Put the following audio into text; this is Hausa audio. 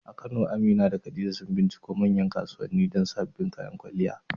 A Kano, Amina da Khadija sun binciko manyan kasuwanni don sabbin kayan kwalliya.